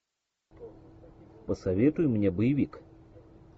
посоветуй мне боевик